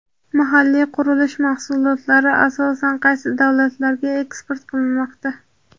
Mahalliy qurilish mahsulotlari asosan qaysi davlatlarga eksport qilinmoqda?.